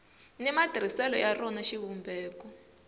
ni matirhiselo ya rona xivumbeko